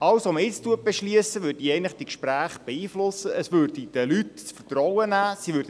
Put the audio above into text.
Alles, was jetzt beschlossen wird, würde die Gespräche beeinflussen, es würde den Leuten das Vertrauen nehmen.